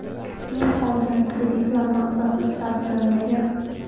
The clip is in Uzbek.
Men olgan kreditlar maqsadsiz sarflanmagan.